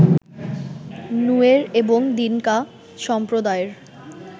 Nuer এবং Dinka সম্প্রদায়ের